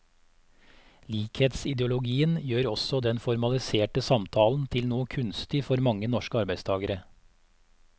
Likhetsideologien gjør også den formaliserte samtalen til noe kunstig for mange norske arbeidstagere.